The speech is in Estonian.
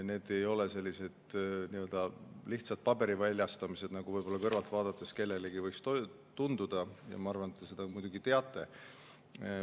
Need ei ole lihtsalt paberi väljastamised, nagu võib-olla kõrvalt vaadates kellelegi võib tunduda, ja ma arvan, et te seda muidugi teate.